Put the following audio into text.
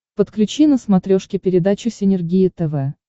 подключи на смотрешке передачу синергия тв